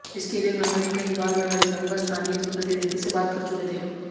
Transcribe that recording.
इसके लिए ग्रामीण कई बार नगर निगम व स्थानीय जनप्रतिनिधि से बात कर चुके थेे